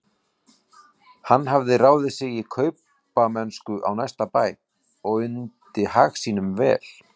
Hann hafði ráðið sig í kaupamennsku á næsta bæ og undi hag sínum vel.